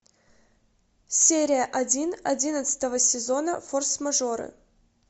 серия один одиннадцатого сезона форс мажоры